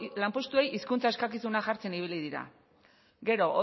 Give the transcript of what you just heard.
lanpostuei hizkuntza eskakizunak jartzen ibili dira gero